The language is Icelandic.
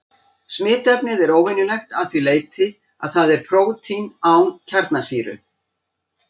Smitefnið er óvenjulegt að því leyti að það er prótín án kjarnasýru.